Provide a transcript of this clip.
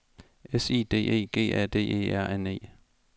S I D E G A D E R N E